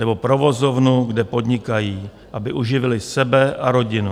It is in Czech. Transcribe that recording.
Nebo provozovnu, kde podnikají, aby uživili sebe a rodinu.